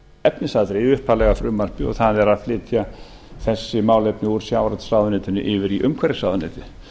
efnisatriði í upphaflega frumvarpinu og það er að flytja þessi málefni úr sjávarútvegsráðuneytinu yfir í umhverfisráðuneytið